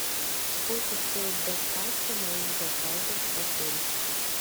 сколько стоит доставка моих заказов в отель